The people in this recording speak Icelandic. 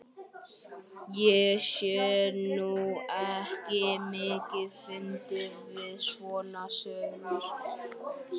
Ég sé nú ekki mikið fyndið við svona sögur.